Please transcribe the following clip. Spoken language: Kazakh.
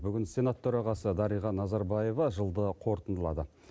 бүгін сенат төрағасы дариға назарбаева жылды қорытындылады